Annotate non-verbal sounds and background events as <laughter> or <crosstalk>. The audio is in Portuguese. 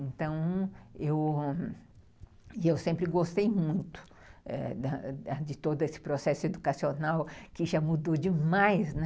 Então, eu sempre gostei <unintelligible> muito de todo esse processo educacional que já mudou demais, né?